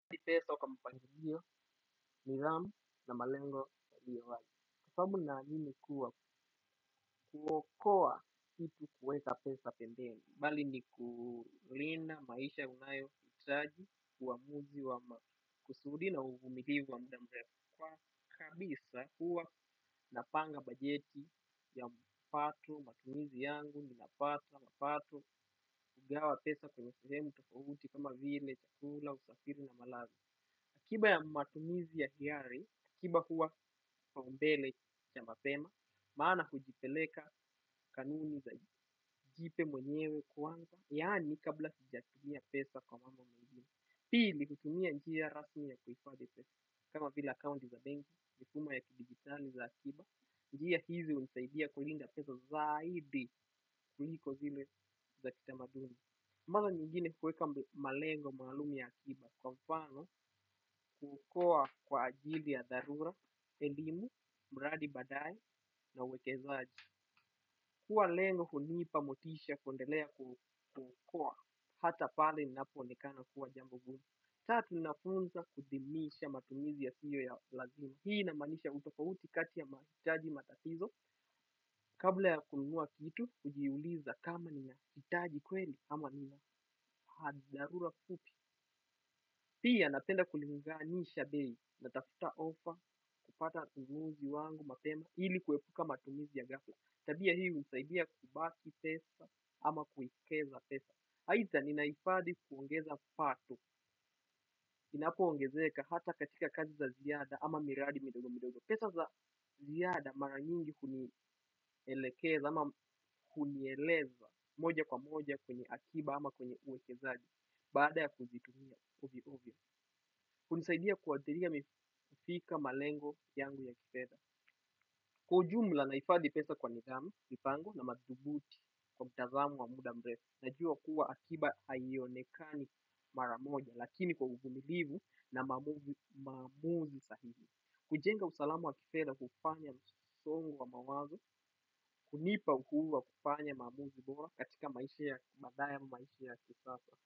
Ndipeso kwa mpangilio, nidhamu na malengo yaliyo wazi. Kwasababu naamini kuwa kuokoa kitu kuweka pesa pembeni. Bali ni kulinda maisha unayo hitaji, uamuzi, kusuudi na uvumilivu wa mda mrefu. Kwa kabisa kuwa napanga bajeti ya mpato, matumizi yangu, nina pata, mpato, kugawa pesa kwenye sehemu tofauti kama vile, chakula, usafiri na malazi. Kiba ya matumizi ka kiari kiba huwa kipaumbele cha mapema maana hutupeleka kanuni za jipe mwenyewe kwanza, yaani kabla hujatumia pesa kwa mambo mengine. Pili kutumia njia rasmi ya kuhifadhi pesa, kama vila account za benki, mifumo ya kidigitali za akiba, njia hizi hunisaidia kulinda pesa zaidi kuliko zile za kitamadumi. Mara nyingine kuweka malengo maalum ya akiba kwa mfano kukua kwa ajili ya dharura, elimu, mradi badae na uwekezaaji. Kua lengo hunipa motisha kundelea kukua hata pale ninapo onekana kuwa jambo gumu. Tatu nafunza kudimisha matumizi ya siyo ya lazima. Hii inamqanisha utofauti kati ya mahitaji matatizo. Kabla ya kununua kitu, hujiuliza kama ni na hitaji kweli ama ni na hadharura fupi. Pia napenda kulinganisha bei na tafuta offer kupata nunuzi wangu mapema ili kuepuka matumizi ya gafla. Tabia hii husaidia kubaki pesa ama kuhekeza pesa. Haidha, ninahifadhi kuongeza pato. Inapoongezeka hata katika kazi za ziada ama miradi midogo midogo. Pesa za ziada mara nyingi kunielekeza ama kunieleza moja kwa moja kwenye akiba ama kwenye uwekezaji. Baada ya kuzitumia uvi uvia. Hunisaidia kuadhiria mifika malengo yangu ya kifedha. Kwa ujumla nahifadhi pesa kwa nidhamu, mipango na madhubuti kwa mtazamo wa muda mrefu. Najua kuwa akiba haionekani mara moja lakini kwa uvumilivu na maamuzi sahihi. Kujenga usalamu wa kifedha hufanya msongo wa mawazo, kunipa ukuu wa kufanya mamuzi bora katika madaya maishia kisasa.